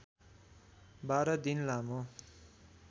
१२ दिन लामो